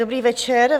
Dobrý večer.